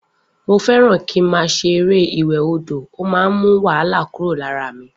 Mo fé ràn ki ma ṣe eré ìwè odò man mú wahala kuro lara mí